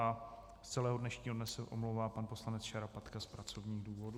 A z celého dnešního dne se omlouvá pan poslanec Šarapatka z pracovních důvodů.